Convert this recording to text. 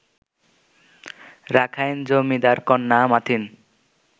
Rakhine জমিদারকন্যা মাথিন